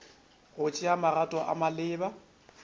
go tšea magato a maleba